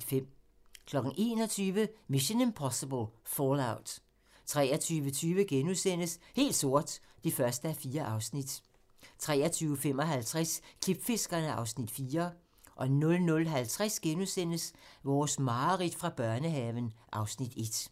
21:00: Mission: Impossible - Fallout 23:20: Helt sort (1:4)* 23:55: Klipfiskerne (Afs. 4) 00:50: Vores mareridt fra børnehaven (Afs. 1)*